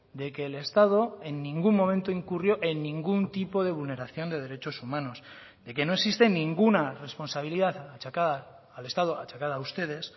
de que el estado en ningún momento incurrió en ningún tipo de vulneración de derechos humanos de que no existe ninguna responsabilidad achacada al estado achacada a ustedes